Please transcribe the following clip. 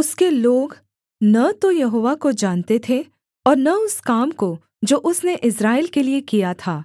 उसके लोग न तो यहोवा को जानते थे और न उस काम को जो उसने इस्राएल के लिये किया था